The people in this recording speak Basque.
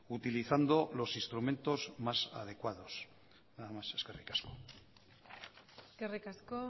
utilizando los instrumentos más adecuados nada más eskerrik asko eskerrik asko